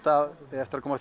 það eigi eftir að koma